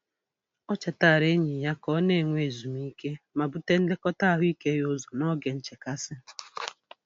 O chetaara enyi ya ka ọ na-enwe ezumike ma bute nlekọta ahụike ya ụzọ n'oge nchekasị.